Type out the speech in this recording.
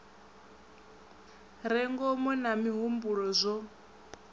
re ngomu na mihumbulo zwo